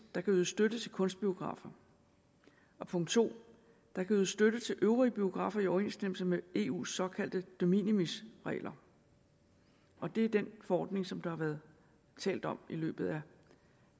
der kan ydes støtte til kunstbiografer og punkt to der kan ydes støtte til øvrige biografer i overensstemmelse med eus såkaldte de minimis regler og det er den forordning som der har været talt om i løbet af